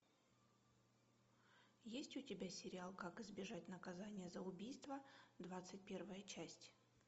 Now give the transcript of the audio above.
есть у тебя сериал как избежать наказания за убийство двадцать первая часть